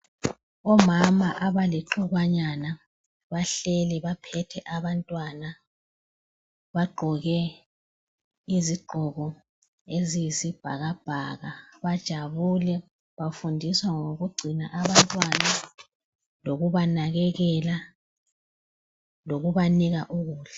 Omama abalixukwanyana bahleli baphethe abantwana, bagqoke izigqoko eziyisibhakabhaka. Bajabule bafundiswa ngokugcina abantwana lokubanakekela lokubanika ukudla.